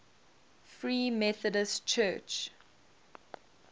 free methodist church